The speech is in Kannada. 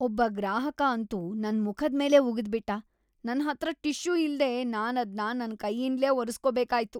ಒಬ್ಬ ಗ್ರಾಹಕ ಅಂತೂ ನನ್ಮುಖದ್ ಮೇಲೇ ಉಗಿದ್ಬಿಟ್ಟ. ನನ್ಹತ್ರ ಟಿಶ್ಯೂ ಇಲ್ದೇ ನಾನದ್ನ ನನ್ ಕೈಯಿಂದ್ಲೇ ಒರೆಸ್ಕೋಬೇಕಾಯ್ತು.